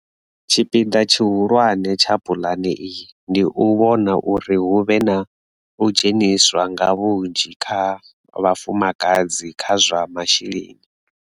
Tshipiḓa tshihulwane tsha puḽane iyi ndi u vhona uri hu vhe na u dzheniswa nga vhunzhi ha vhafumakadzi kha zwa masheleni.